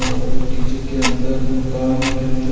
और डीजे के अंदर मकान के अंदर--